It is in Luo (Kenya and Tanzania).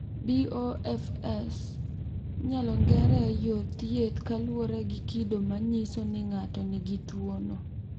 BOFS inyalo ng’ere e yor thieth kaluwore gi kido ma nyiso ni ng’ato nigi tuwono.